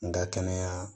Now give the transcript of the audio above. N ka kɛnɛya